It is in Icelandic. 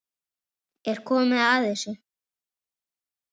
Er ekki komið að þessu?